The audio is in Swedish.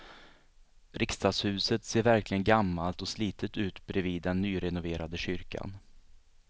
Riksdagshuset ser verkligen gammalt och slitet ut bredvid den nyrenoverade kyrkan.